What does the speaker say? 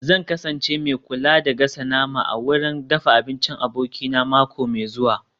Zan kasance mai kula da gasa nama a wurin dafa abinci abokina mako mai zuwa